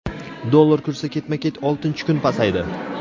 Dollar kursi ketma-ket oltinchi kun pasaydi.